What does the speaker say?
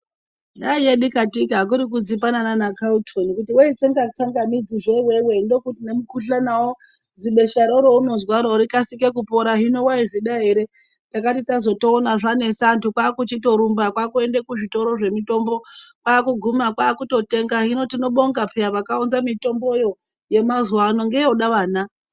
Yaiye dikatika, kuri kudzipana nana Calton kuti, weitsenga tsangamidzi zve iwewe, nemukhuhlanawo, zibeshero reunozwaro rikasike kupora, hino waizvida ere. Takati tazotoona zvanesa, anthu kwaakuchitorumba kwaakuende kuzvitoro zvemitombo, kwaakuguma kwaakutotenga, hino tinobonga pheya, vakaunza mitombo yo, yemazuwa ano ngeyoda vana.